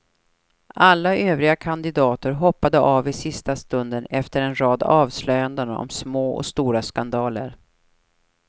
Alla övriga kadidater hoppade av i sista stund efter en rad avslöjanden om små och stora skandaler.